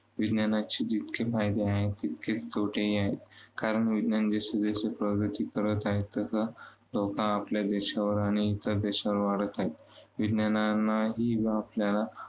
विज्ञानाचे जितके फायदे आहेत, तितकेच तोटेही आहेत. कारण विज्ञान जसेजसे प्रगती करत आहे, तसा लोकं आपल्या देशावर आणि इतर देशांवर वाढत आहेत. विज्ञान जो